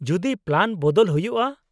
-ᱡᱚᱫᱤ ᱯᱞᱟᱱ ᱵᱚᱫᱚᱞ ᱦᱩᱭᱩᱜᱼᱟ ?